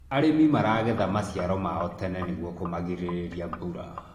arĩmi maragetha maciaro mao tene nĩguo kumagiririria mbura